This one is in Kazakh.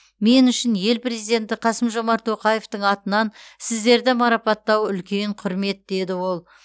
мен үшін ел президенті қасым жомарт тоқаевтың атынан сіздерді марапаттау үлкен құрмет деді ол